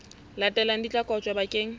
latelang di tla kotjwa bakeng